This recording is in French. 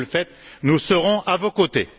Si vous le faites, nous serons à vos côtés.